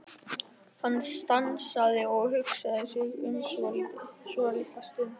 Hann stansaði og hugsaði sig um svolitla stund.